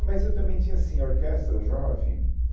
mas eu também tinha assim a Orquestra Jovem.